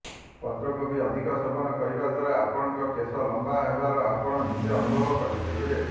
ପତ୍ରକୋବି ଅଧିକ ସେବନ କରିବା ଦ୍ବାରା ଆପଣଙ୍କ କେଶ ଲମ୍ବା ହେବାର ଆପଣ ନିଜେ ଅନୁଭବ କରିପାରିବେ